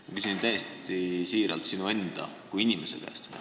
Ma küsin täiesti siiralt sinu kui inimese käest.